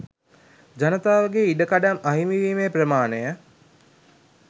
ජනතාවගේ ඉඩකඩම් අහිමි වීමේ ප්‍රමාණය